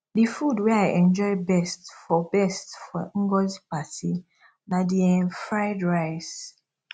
the food wey i enjoy best for best for ngozi party na the um fried rice